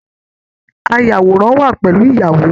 Ayàwòrán wà pẹlú ìyàwó.